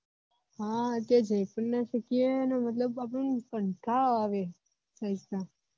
હ ક્યાં જઈ પણ ના શકીએ અને મતલબ આપને કંટાળો આવે ભાઈસા